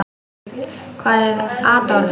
Hvar var Adolf?